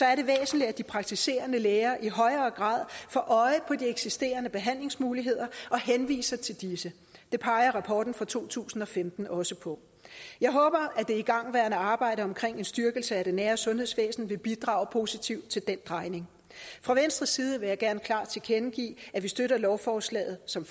er det væsentligt at de praktiserende læger i højere grad får øje på de eksisterende behandlingsmuligheder og henviser til disse det peger rapporten fra to tusind og femten også på jeg håber at det igangværende arbejde omkring en styrkelse af det nære sundhedsvæsen vil bidrage positivt til den drejning fra venstres side vil jeg gerne klart tilkendegive at vi støtter lovforslaget som